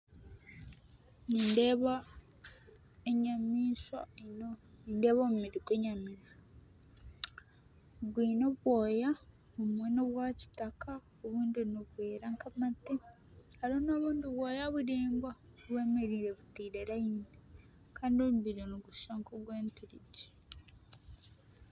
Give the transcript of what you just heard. Nindeeba enyamaishwa nindeeba omubiri gw'enyamaishwa. Gwine obwoya obumwe n'obwa kitaka obundi nibwera nk'amate harimu n'obundi bwoya buraingwa bwemereire buteire rayini kandi omubiri nigushusha nk'ogw'enturegye.